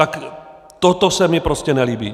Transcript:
Tak toto se mi prostě nelíbí.